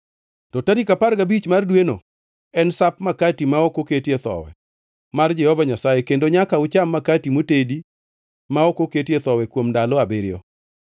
To tarik apar gabich mar dweno en Sap Makati ma ok oketie Thowi mar Jehova Nyasaye kendo nyaka ucham makati motedi ma ok oketie thowi kuom ndalo abiriyo.